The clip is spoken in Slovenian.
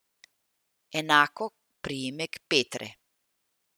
Enako priimek Petre.